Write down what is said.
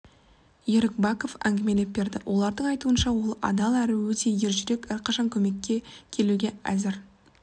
ерік баков әңгімелеп берді олардың айтуынша ол адал әрі өте ержүрек әрқашанда көмекке келуге әзір